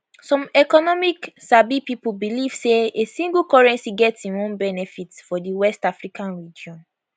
some economic sabi pipo believe say a single currency get im own benefits for di west african region